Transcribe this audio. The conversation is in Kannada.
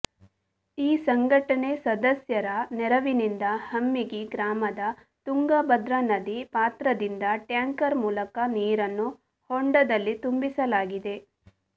ಈ ಸಂಘಟನೆ ಸದಸ್ಯರ ನೆರವಿನಿಂದ ಹಮ್ಮಿಗಿ ಗ್ರಾಮದ ತುಂಗಭದ್ರಾ ನದಿ ಪಾತ್ರದಿಂದ ಟ್ಯಾಂಕರ್ ಮೂಲಕ ನೀರನ್ನು ಹೊಂಡದಲ್ಲಿ ತುಂಬಿಸಲಾಗಿದೆ